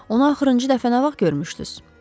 Onu axırınci dəfə nə vaxt görmüşdüz?